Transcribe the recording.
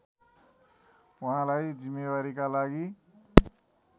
उहाँलाई जिम्मेवारीका लागि